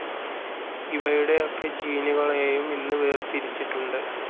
ഇവയുടെയൊക്കെ ജീനുകളെയും ഇന്ന് വേർതിരിച്ചിട്ടുണ്ട്.